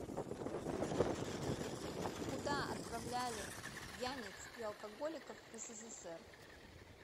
куда отправляли пьяниц и алкоголиков в ссср